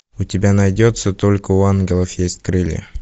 у тебя найдется только у ангелов есть крылья